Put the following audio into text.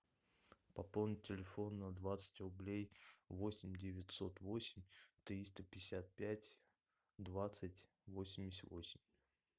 пополнить телефон на двадцать рублей восемь девятьсот восемь триста пятьдесят пять двадцать восемьдесят восемь